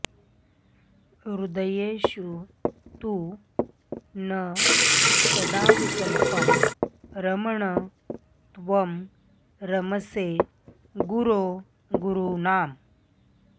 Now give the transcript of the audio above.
हृदयेषु तु नः सदाऽविकल्पं रमण त्वं रमसे गुरो गुरूणाम्